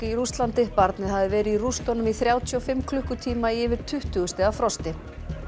í Rússlandi barnið hafði verið í rústunum í þrjátíu og fimm klukkutíma í yfir tuttugu stiga frosti